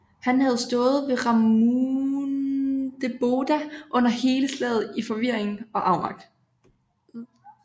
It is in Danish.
Han havde stået ved Ramundeboda under hele slaget i forvirring og afmagt